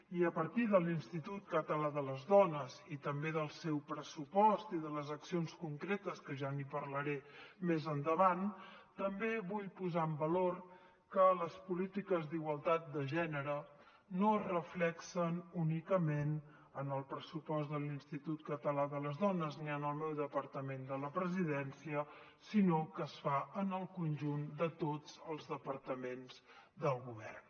i a partir de l’institut català de les dones i també del seu pressupost i de les accions concretes que ja n’hi parlaré més endavant també vull posar en valor que les polítiques d’igualtat de gènere no es reflecteixen únicament en el pressupost de l’institut català de les dones ni en el meu departament de la presidència sinó que es fa en el conjunt de tots els departaments del govern